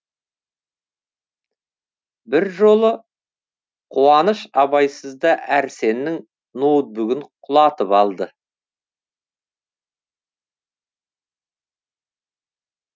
бір жолы қуаныш абайсызда әрсеннің ноутбугін құлатып алды